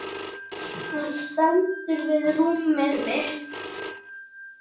Hann stendur við rúmið mitt.